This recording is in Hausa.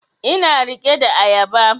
Ina riƙe da ayaba